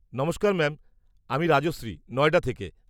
-নমস্কার ম্যাম, আমি রাজশ্রী, নয়ডা থেকে।